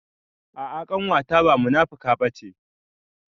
A'a ƙanwata ba munafuka bace